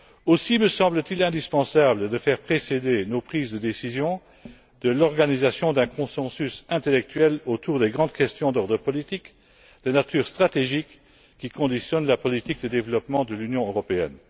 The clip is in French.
Aussi me semble t il indispensable de faire précéder nos prises de décision de l'organisation d'un consensus intellectuel autour des grandes questions politiques de nature stratégique qui conditionnent la politique de développement de l'Union européenne.